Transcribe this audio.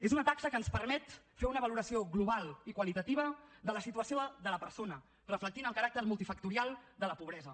és una taxa que ens permet fer una valoració global i qualitativa de la situació de la persona reflectint el caràcter multifactorial de la pobresa